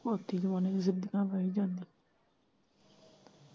ਮੈਂ ਨੀ ਜਾਂਦੀ।